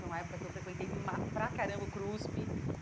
Foi uma época que eu frequentei para caramba o CRUSP.